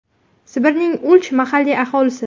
Sibirning Ulch mahalliy aholisi.